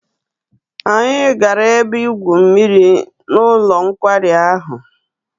Anyị gara ebe-igwu mmiri n'ụlọ nkwari ahụ.